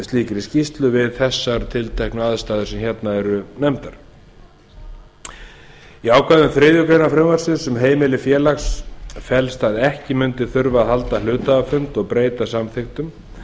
slíkri skýrslu við þessar tilteknu aðstæður sem hérna eru nefndar í ákvæðum þriðju greinar frumvarpsins um heimili félags felst að ekki mundi þurfa að halda hluthafafund og breyta samþykktum